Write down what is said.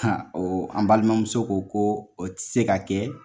o an balimamuso ko ko o ti se ka kɛ